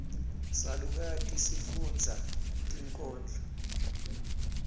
salukati sifundza tinkhondlo